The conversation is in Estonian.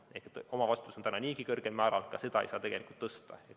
Ehk omavastutuse määr on niigi kõrge, ka seda ei saa tegelikult tõsta.